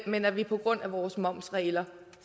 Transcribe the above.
men at vi på grund af vores momsregler